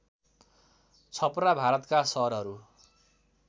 छपरा भारतका सहरहरू